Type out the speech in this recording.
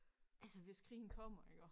Altså hvis krigen kommer iggå